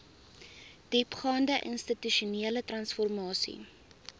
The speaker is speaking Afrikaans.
diepgaande institusionele transformasie